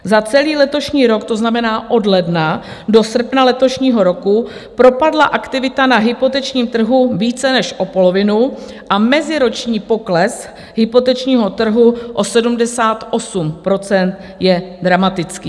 Za celý letošní rok, to znamená od ledna do srpna letošního roku, propadla aktivita na hypotečním trhu více než o polovinu a meziroční pokles hypotečního trhu o 78 % je dramatický.